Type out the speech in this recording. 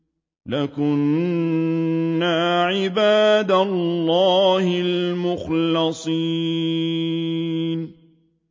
لَكُنَّا عِبَادَ اللَّهِ الْمُخْلَصِينَ